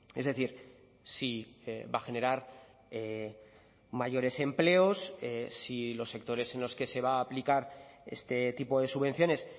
es decir si va a generar mayores empleos si los sectores en los que se va a aplicar este tipo de subvenciones